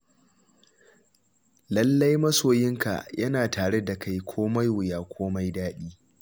Lallai, masoyinka yana tare da kai komai wuya komai daɗi.